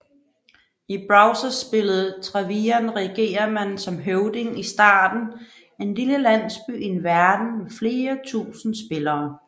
I browserspillet Travian regerer man som høvding i starten en lille landsby i en verden med flere tusinde spillere